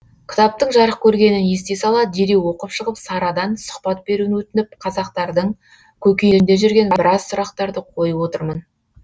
кітаптың жарық көргенін ести сала дереу оқып шығып сарадан сұхбат беруін өтініп қазақтардың көкейінде жүрген біраз сұрақтарды қойып отырмын